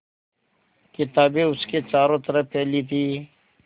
किताबें उसके चारों तरफ़ फैली थीं